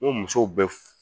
N ko musow bɛ